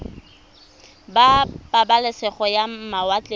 ba pabalesego ya mawatle ba